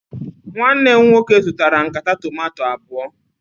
Nwanne m nwoke zụtara nkata tomanto abụọ